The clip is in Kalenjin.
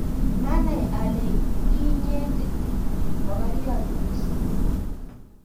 maanai ale ii inyete mokoriot mising'